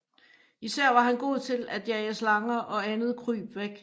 Især var han god til at jage slanger og andet kryb væk